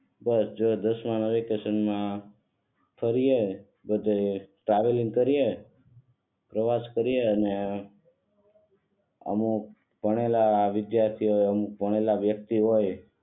હવે જો દાસમાં વેકેશન માં ફરીયે બધે ટ્રાવેલિંગ કરીયે પ્રવાસ કરીયે અને અમુક ભણેલા વિદ્યાર્થીઓએ અમુક ભણેલા વ્યક્તિઓએ